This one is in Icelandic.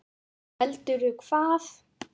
Heldur hvað?